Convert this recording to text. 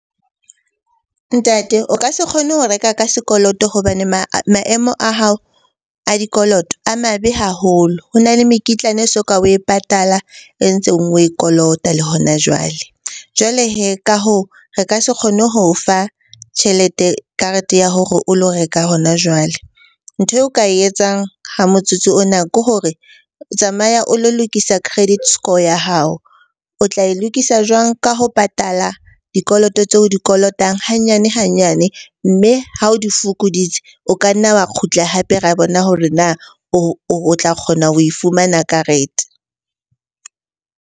Ntate o ka se kgone ho reka ka sekoloto hobane maemo a hao a dikoloto a mabe haholo. Ho na le mekitlane e soka oe patala e ntseng oe kolota le hona jwale. Jwale hee ka hoo, re ka se kgone ho o fa karete ya hore o lo reka hona jwale. Ntho eo ka e etsang ha motsotso ona ke hore tsamaya o lo lokisa credit score ya hao. O tla e lokisa jwang? Ka ho patala dikoloto tseo o di kolotang hanyane-hanyane, mme ha o di fokoditse o ka nna wa kgutla hape ra bona hore na o tla kgona ho e fumana karete.